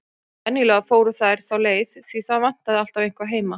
Venjulega fóru þær þá leið, því það vantaði alltaf eitthvað heima.